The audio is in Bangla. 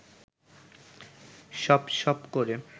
সপ সপ করে